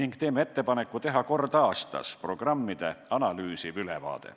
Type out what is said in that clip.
Me teeme ettepaneku teha kord aastas programmide analüüsiv ülevaade.